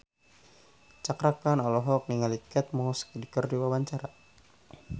Cakra Khan olohok ningali Kate Moss keur diwawancara